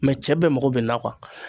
Mɛ cɛ bɛɛ mago be nin na kuwa